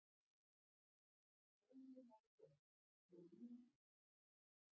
Jólin að koma- og lyngið